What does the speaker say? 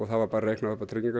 það var bara reiknað